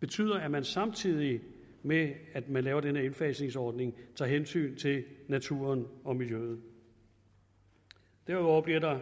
betyder at man samtidig med at man laver den her indfasningsordning tager hensyn til naturen og miljøet derudover bliver der